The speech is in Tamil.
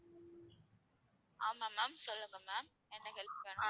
ஆமா ma'am சொல்லுங்க ma'am என்ன help வேணும்